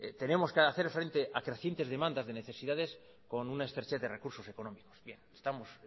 tenemos que hacer frente a crecientes demandas de necesidades con una estrechez de recursos económicos estamos